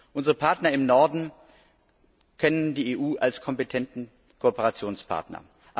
Unsere Partner im Norden kennen die EU als kompetenten Kooperationspartner.